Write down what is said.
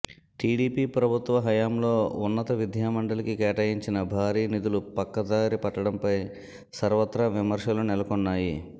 TDP ప్రభుత్వ హయాంలో ఉన్నత విద్యామండలికి కేటాయించిన భారీ నిధులు పక్కదారి పట్టడంపై సర్వత్రా విమర్శలు నెలకొన్నాయి